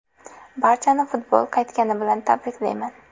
Barchani futbol qaytgani bilan tabriklayman.